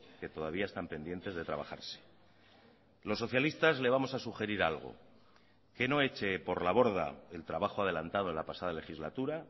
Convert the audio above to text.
que todavía están pendientes de trabajarse los socialistas le vamos a sugerir algo que no eche por la borda el trabajo adelantado en la pasada legislatura